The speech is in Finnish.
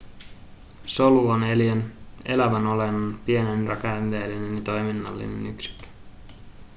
solu on eliön elävän olennon pienin rakenteellinen ja toiminnallinen yksikkö